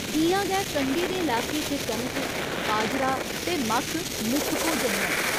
इ'यां गै कंढी दे लाके च कनक, बाजरा ते मक्क मुक्ख भोजन न।